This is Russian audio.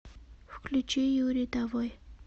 включи юри давой